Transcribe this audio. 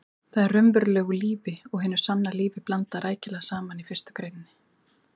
Þar er raunverulegu lífi og hinu sanna lífi blandað rækilega saman í fyrstu greininni.